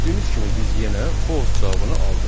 Gördüyünüz kimi biz yenə false cavabını aldıq.